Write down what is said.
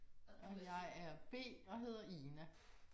Og jeg er B og hedder Ina